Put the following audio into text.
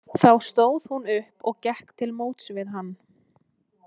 Þá stóð hún upp og gekk til móts við hann.